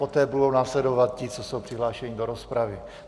Poté budou následovat ti, co jsou přihlášeni do rozpravy.